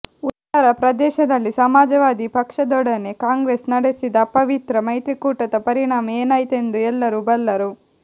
ಉತ್ತರಪ್ರದೇಶದಲ್ಲಿ ಸಮಾಜವಾದಿ ಪಕ್ಷದೊಡನೆ ಕಾಂಗ್ರೆಸ್ ನಡೆಸಿದ ಅಪವಿತ್ರ ಮೈತ್ರಿಕೂಟದ ಪರಿಣಾಮ ಏನಾಯಿತೆಂದು ಎಲ್ಲರೂ ಬಲ್ಲರು